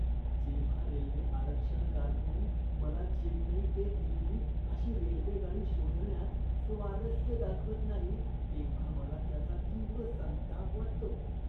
जेव्हा रेल्वे आरक्षण कारकून मला चेन्नई ते दिल्ली अशी रेल्वेगाडी शोधण्यात स्वारस्य दाखवत नाही, तेव्हा मला त्याचा तीव्र संताप वाटतो.